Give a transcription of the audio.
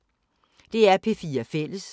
DR P4 Fælles